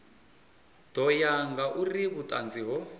ḓo ya ngauri vhuṱanzi ho